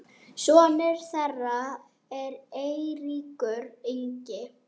sonur þeirra er Eiríkur Ingi.